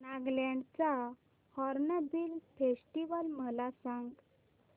नागालँड चा hornbill festival मला सांग